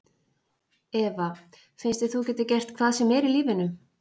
Eva: Finnst þér þú geta gert hvað sem er í lífinu?